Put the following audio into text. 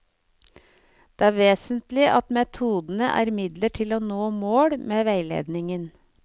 Det er vesentlig at metodene er midler til å nå mål med veiledningen.